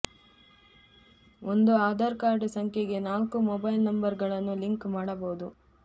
ಒಂದು ಆಧಾರ್ ಕಾರ್ಡ್ ಸಂಖ್ಯೆಗೆ ನಾಲ್ಕು ಮೊಬೈಲ್ ನಂಬರ್ಗಳನ್ನು ಲಿಂಕ್ ಮಾಡಬಹುದು